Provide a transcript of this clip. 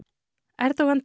Erdogan